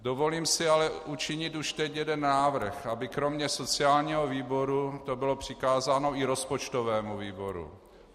Dovolím si ale učinit už teď jeden návrh, aby kromě sociálního výboru to bylo přikázáno i rozpočtovému výboru.